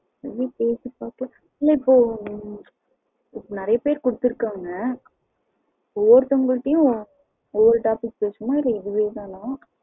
சரி கேட்டு பாப்போம் இல்ல இப்போ வந்து நெறையா பேரு குடுத்துருகாங்க ஒவ்வொருத்தங்க கிட்டயும் ஒரு ஒரு topic பேசணுமா? இல்ல இதுவே தானா